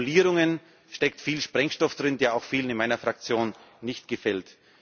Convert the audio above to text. h. in den Formulierungen steckt viel Sprengstoff, der auch vielen in meiner Fraktion nicht gefällt.